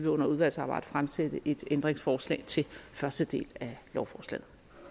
under udvalgsarbejdet stille et ændringsforslag til første del af lovforslaget